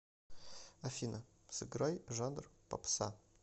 афина сыграй жанр попса